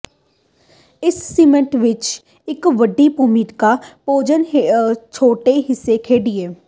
ਇਸ ਸਿਸਟਮ ਵਿੱਚ ਇਕ ਵੱਡੀ ਭੂਮਿਕਾ ਭੋਜਨ ਛੋਟੇ ਹਿੱਸੇ ਖੇਡਿਆ